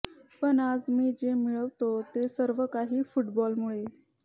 पण आज मी जे मिळवतो ते सर्व काही फुटबॉलमुळे